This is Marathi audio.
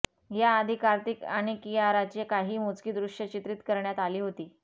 याआधी कार्तिक आणि किआराची काही मोजकी दृश्य चित्रीत करण्यात आली होती